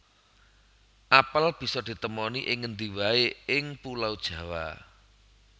Apel bisa di temoni ing ngendi waé ing Pulo Jawa